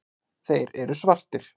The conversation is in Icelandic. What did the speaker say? Þeir eru svartir.